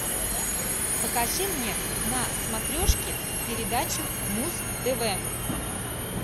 покажи мне на смотрешке передачу муз тв